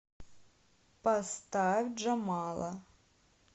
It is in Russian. поставь джамала